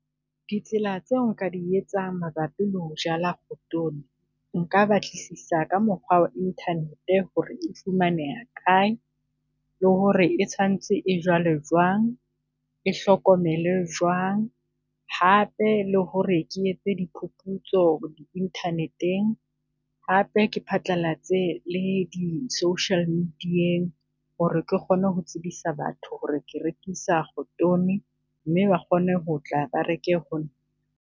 Ditsela tseo nka di etsang mabapi le ho jala khotoni. Nka batlisisa ka mokgwa wa internet hore e fumaneha kae, le hore e santse e jalwe jwang, e hlokomele jwang hape le hore ke etse diphuphutso di internet-eng hape, ke phatlalatse le di-social media-eng hore ke kgone ho tsebisa batho hore ke rekisa khotoni mme ba kgone ho tla ba reke ho nna.